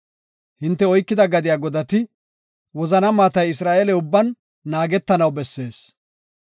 Hinte oykida gadiya godati, wozana maatay Isra7eele ubban naagetanaw bessees.